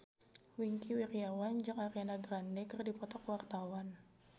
Wingky Wiryawan jeung Ariana Grande keur dipoto ku wartawan